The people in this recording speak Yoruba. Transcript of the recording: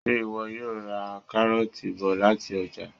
Ṣé ìwọ yóò ra káróọ̀ti bọ̀ lati ọ́jà?